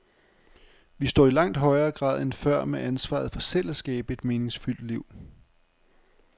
Vi står i langt højere grad end før med ansvaret for selv at skabe et meningsfyldt liv.